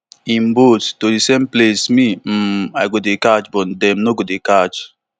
im boat to same place me um i go dey catch but dem no go dey catch